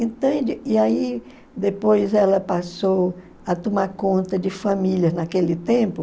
Entende? E aí, depois, ela passou a tomar conta de famílias naquele tempo.